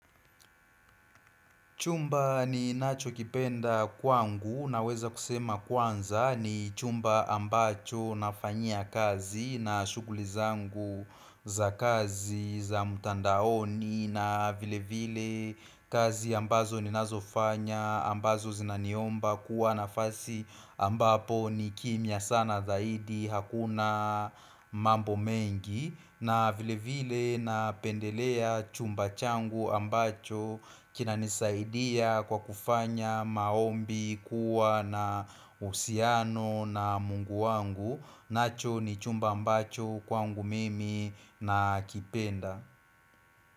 Chumba ninachokipenda kwangu naweza kusema kwanza ni chumba ambacho nafanyia kazi na shuguli zangu za kazi za mutandaoni na vile vile kazi ambazo ni nazofanya ambazo zinaniomba kuwanafasi ambapo ni kimya sana zaidi hakuna mambo mengi na vile vile napendelea chumba changu ambacho kinanisaidia kwa kufanya maombi kuwa na usiano na mungu wangu nacho ni chumba ambacho kwa mungu mimi nakipenda.